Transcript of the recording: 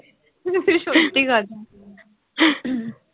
সত্যি কথা